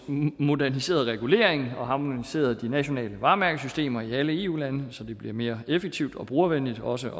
moderniseret reguleringen og harmoniseret de nationale varemærkesystemer i alle eu lande så det bliver mere effektivt og brugervenligt også